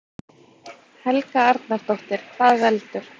Helga Arnardóttir: Hvað veldur?